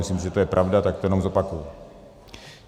Myslím, že to je pravda, tak to jenom zopakuji.